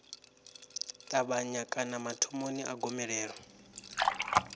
ṱavhanya kana mathomoni a gomelelo